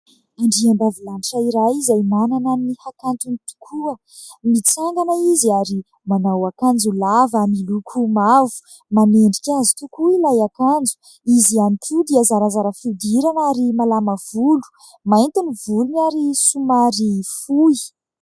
Andriambavilanitra iray izay manana ny hakantony tokoa mitsangana izy ary manao akanjo lava miloko mavo manendrika azy tokoa ilay akanjo. Izy ihany koa dia zarazara fihodirana ary malama volo mainty ny volony ary somary fohy